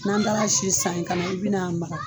N'an taara si san in kana na i bi na an mara.